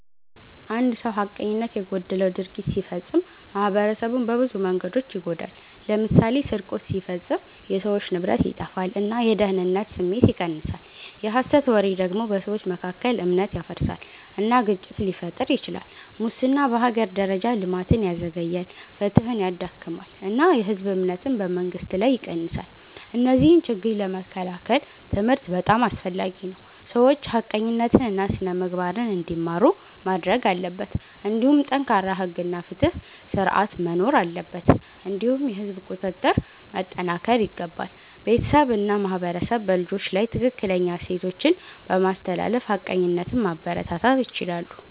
አንድ ሰው ሐቀኝነት የጎደለው ድርጊት ሲፈጽም ማኅበረሰቡን በብዙ መንገዶች ይጎዳል። ለምሳሌ ስርቆት ሲፈጸም የሰዎች ንብረት ይጠፋል እና የደህንነት ስሜት ይቀንሳል። የሐሰት ወሬ ደግሞ በሰዎች መካከል እምነት ያፈርሳል እና ግጭት ሊፈጥር ይችላል። ሙስና በሀገር ደረጃ ልማትን ያዘግያል፣ ፍትሕን ያዳክማል እና የህዝብ እምነትን በመንግስት ላይ ይቀንሳል። እነዚህን ችግኝ ለመከላከል ትምህርት በጣም አስፈላጊ ነው፤ ሰዎች ሐቀኝነትን እና ስነ-ምግባርን እንዲማሩ ማድረግ አለበት። እንዲሁም ጠንካራ ሕግ እና ፍትሕ ስርዓት መኖር አለበት እንዲሁም የህዝብ ቁጥጥር መጠናከር ይገባል። ቤተሰብ እና ማህበረሰብ በልጆች ላይ ትክክለኛ እሴቶችን በማስተላለፍ ሐቀኝነትን ማበረታታት ይችላሉ።